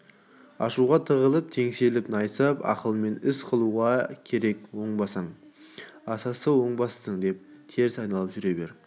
ашуға тығылып теңселіп найсап ақылмен іс қылуға керек оңбассың асасы оңбассың деп теріс айналып жүре